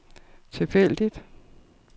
tilfældigt